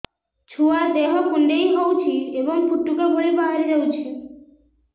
ଛୁଆ ଦେହ କୁଣ୍ଡେଇ ହଉଛି ଏବଂ ଫୁଟୁକା ଭଳି ବାହାରିଯାଉଛି